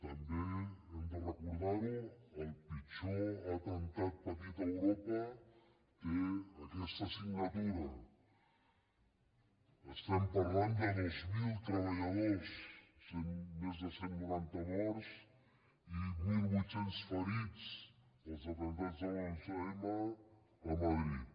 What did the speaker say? també hem de recordar ho el pitjor atemptat patit a europa té aquesta signatura estem parlant de dos mil treballadors més de cent i noranta morts i mil vuit cents ferits als atemptats de l’onze m a madrid